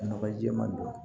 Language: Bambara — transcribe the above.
Nɔgɔ ji jɛman don